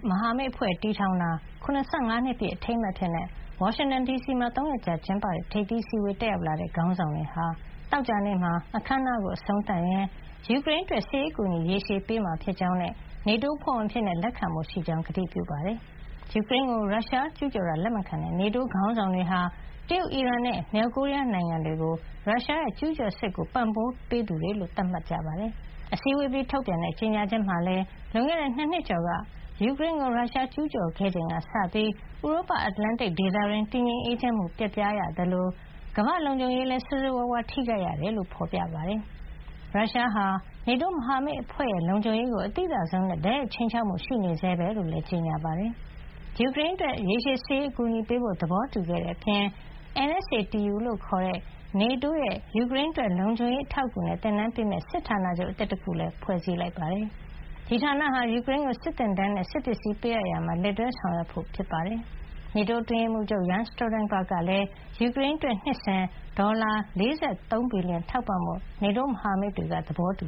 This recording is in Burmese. မဟာမိတ်အဖွဲ့တည်ထောင်တာ ၇၅ နှစ်ပြည့် အထိမ်းအမှတ်အဖြစ် ဝါရှင်တန်ဒီစီမှာ ၃ ရက်ကြာကျင်းပတဲ့ ထိပ်သီးအစည်းဝေးကို တက်ရောက်လာကြတဲ့ ခေါင်းဆောင်တွေဟာ သောကြာနေ့မှာ အခမ်းအနားကို အဆုံးသတ်ရင်း ယူကရိန်းအတွက် စစ်ရေးအကူညီ ရေရှည်ပေးမှာဖြစ်ကြောင်းနဲ့ NATO အဖွဲ့ဝင်အဖြစ် လက်ခံဖို့ရှိကြောင်း ကတိပြုခဲ့ကြပါတယ်။ ယူကရိန်းကို ရုရှားကျူးကျော်တာ လက်မခံတဲ့ NATO ခေါင်းဆောင်တွေဟာ တရုတ်၊ အီရန်နဲ့ မြောက်ကိုရီးယား နိုင်ငံတွေကို ရုရှားရဲ့ကျူးကျော်စစ်ကို ပံ့ပိုးပေးသူတွေလို့ သတ်မှတ်ခဲ့ကြတာပါ။ အစည်းဝေးအပြီး ထုတ်ပြန်တဲ့ကြေညာချက်မှာလည်း လွန်ခဲ့တဲ့ ၂ နှစ် ကျော်က ယူကရိန်းကို ရုရှားကျူးကျော်ခဲ့ချိန်ကစပြီး ဥရောပ- အတ္တလန်တိတ် ဒေသတွင်း တည်ငြိမ်အေးချမ်းမှု ပျက်ပြားခဲ့ရသလို ကမ္ဘာ့လုံခြုံရေးဟာလည်း ဆိုးဆိုးဝါးဝါး ထိခိုက်ခဲ့ရတယ်လို့ ဖေါ်ပြထားပါတယ်။ ရုရှားရဲ့ကျူးကျော်မှုကို အောင်မြင်အောင် တွန်းလှန်ဖို့ ယူကရိန်းကို အကူညီပေးနေတဲ့ NATO အဖွ့ဲက ရုရှားဟာ NATO မဟာမိတ်အဖွ့ဲရဲ့ လုံခြုံရေးကို အသိသာဆုံးနဲ့ တိုက်ရိုက် ခြိမ်းခြောက်မှု ရှိနေဆဲပဲလို့လည်း ကြေညာခဲ့တာပါ။ ယူကရိန်းအတွက် ရေရှည်စစ်ရေး အကူညီပေးဖို့ သဘောတူခဲ့တဲ့အပြင် NSATU လို့ခေါ်တဲ့ NATO ရဲ့ ယူကရိန်းအတွက် လုံခြုံရေး အထောက်အကူနဲ့ သင်တန်းပေးမယ့် စစ်ဌာနချုပ်အသစ် တခုလည်း ဖွဲ့စည်းလိုက်ပါတယ်။ ဒီဌာနဟာ ယူကရိန်းကို စစ်သင်တန်းနဲ့ စစ်ပစ္စည်းပေးအပ်ရာမှာ လက်တွဲဆောင်ရွက်ဖို့ ဖြစ်ပါတယ်။ NATO အတွင်းရေးမှုးချုပ် Jens Stoltenberg ကလည်း ယူကရိန်းအတွက် နှစ်စဉ် ဒေါ်လာ ၄၃ ဘီလီယံ ထောက်ပံ့ဖို့ NATO မဟာမိတ်တွေက သဘောတူ